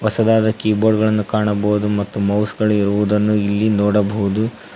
ಹೊಸದಾದ ಕೀಬೋರ್ಡ್ ಗಳನ್ನು ಕಾಣಬಹುದು ಮತ್ತು ಮೌಸ್ ಗಳಿರುವುದನ್ನ ಇಲ್ಲಿ ನೋಡಬಹುದು.